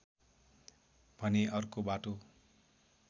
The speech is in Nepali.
भने अर्को बाटो